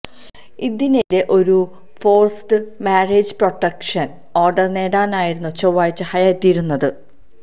ഇതിനെതിരെ ഒരു forced marriage protection order നേടാനായിരുന്നു ചൊവ്വാഴ്ച ഹയ എത്തിയിരുന്നത്